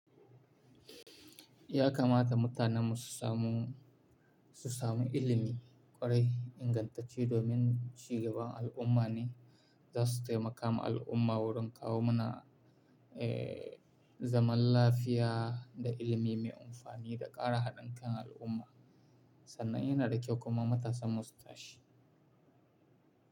Ya kamata mutanen mu su samu, su samu ilimi ƙwarai ingantacce domin cigaban al'umma ne za su taimaka al'umma wurin kawo mana, zaman lafiya da ilimi mai amfani da ƙara haɗin kan al'umma sannan yana da kyau kuma matasan mu su tashi.